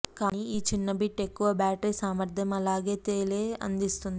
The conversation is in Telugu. కానీ ఈ చిన్న బిట్ ఎక్కువ బ్యాటరీ సామర్థ్యం అలాగే తేలే అందిస్తుంది